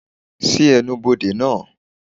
ṣii ènubodè naa!